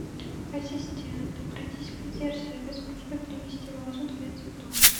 ассистент обратись в консьерж сервис с просьбой принести вазу для цветов